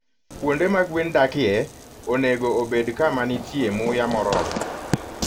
Kuonde ma gwen dakie onego obed kama nitie muya moromo.